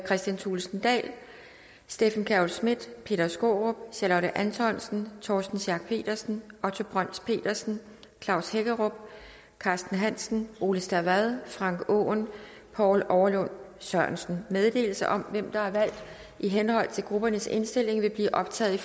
kristian thulesen dahl steffen kjærulff schmidt peter skaarup charlotte antonsen torsten schack pedersen otto brøns petersen klaus hækkerup carsten hansen ole stavad frank aaen poul overlund sørensen meddelelse om hvem der er valgt i henhold til gruppernes indstilling vil blive optaget